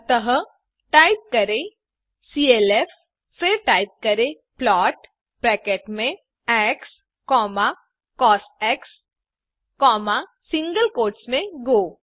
अतःटाइप करें clf फिर type करें प्लॉट ब्रैकेट में xकॉस सिंगल कोट्स में गो